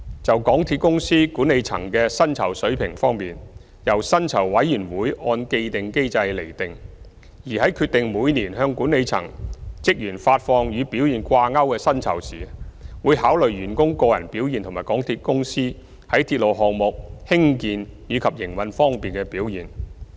就港鐵公司管理層的薪酬水平方面，由薪酬委員會按既定機制釐定，而在決定每年向管理層職員發放與表現掛鈎的薪酬時，會考慮員工個人表現及港鐵公司在鐵路項目興建及營運方面的表現。